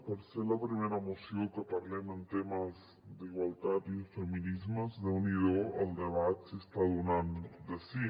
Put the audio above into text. per ser la primera moció que parlem en temes d’igualtat i de feminismes déu n’hi do el debat si està donant de si